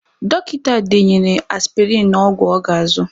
Dọkịta denyere aspịrịn na ọgwụ ọ ga-azụ.